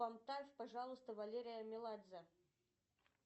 поставь пожалуйста валерия меладзе